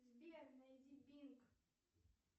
сбер найди бинг